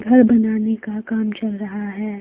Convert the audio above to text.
घर बनाने का काम चल रहा है।